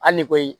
Hali ni koyi